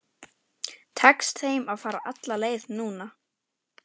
Tekst þeim að fara alla leið núna?